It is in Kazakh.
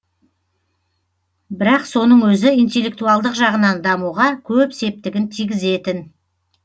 бірақ соның өзі интеллектуалдық жағынан дамуға көп септігін тигізетін